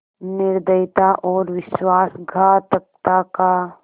निर्दयता और विश्वासघातकता का